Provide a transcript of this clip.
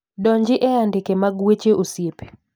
donji e andike mag weche osiepe